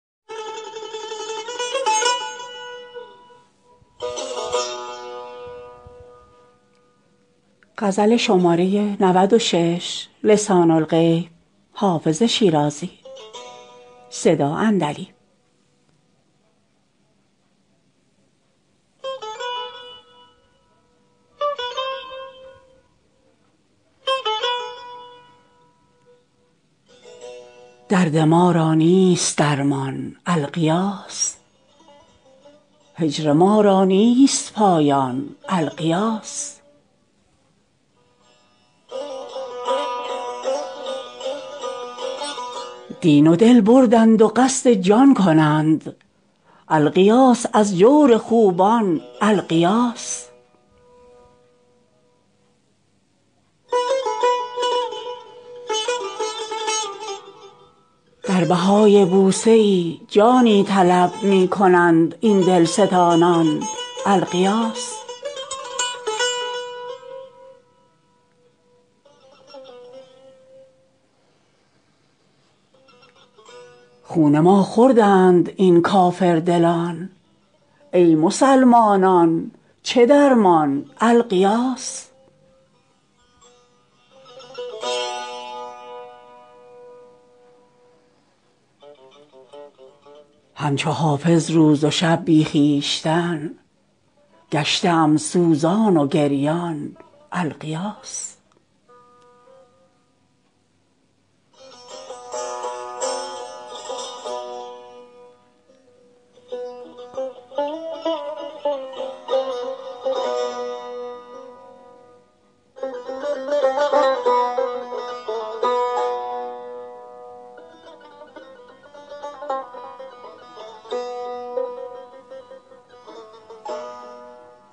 درد ما را نیست درمان الغیاث هجر ما را نیست پایان الغیاث دین و دل بردند و قصد جان کنند الغیاث از جور خوبان الغیاث در بهای بوسه ای جانی طلب می کنند این دلستانان الغیاث خون ما خوردند این کافردلان ای مسلمانان چه درمان الغیاث هم چو حافظ روز و شب بی خویشتن گشته ام سوزان و گریان الغیاث